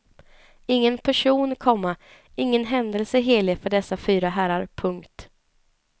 Ingen person, komma ingen händelse är helig för dessa fyra herrar. punkt